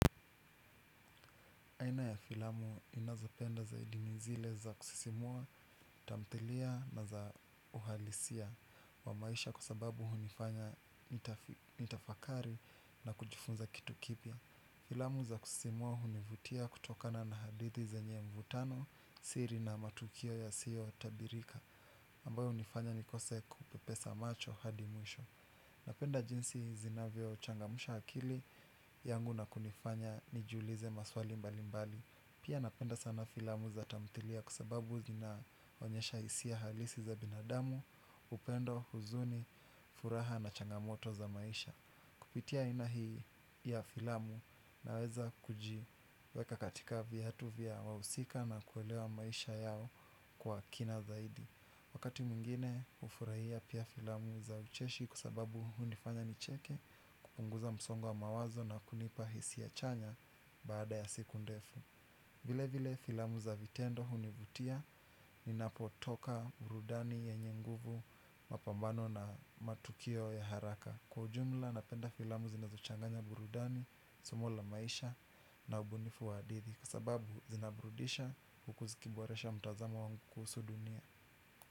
Aina ya filamu ninazapenda zaidi ni zile za kusisimua, tamthilia na za uhalisia wa maisha kwa sababu hunifanya nitafakari na kujifunza kitu kipya. Filamu za kusisimua hunivutia kutokana na hadithi zenye mvutano, siri na matukio yasiyotabirika, ambayo hunifanya nikose kupepesa macho hadi mwisho. Napenda jinsi zinavyochangamusha akili yangu na kunifanya nijiulize maswali mbalimbali. Pia napenda sana filamu za tamthilia kwa sababu zinaonyesha hisia halisi za binadamu, upendo, huzuni, furaha na changamoto za maisha. Kupitia aina hii ya filamu naweza kuji weka katika viatu vya wahusika na kuelewa maisha yao kwa kina zaidi. Wakati mwingine hufurahia pia filamu za ucheshi kwa sababu hunifanya nicheke kupunguza msongo wa mawazo na kunipa hisia chanya baada ya siku ndefu. Vile vile filamu za vitendo hunivutia ninapotoka burudani yanye nguvu mapambano na matukio ya haraka. Kwa ujumla napenda filamu zinazochanganya burudani, somo la maisha na ubunifu wa hadidhi kwabsababu zinabrudisha huku zikiboresha mtazamo wangu kuhusu dunia.